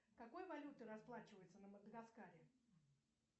какой валютой расплачиваются на мадагаскаре